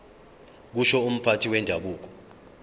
kusho umphathi wendabuko